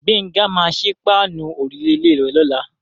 Gbénga máa sí páànù òrùlé ilé rè lọ́la.